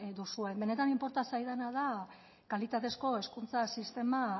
duzuen benetan inporta zaidana da kalitatezko hezkuntza sistema